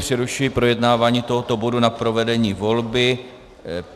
Přerušuji projednávání tohoto bodu na provedení volby.